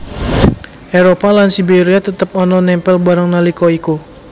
Éropah lan Siberia tetep ana nempel bareng nalika iku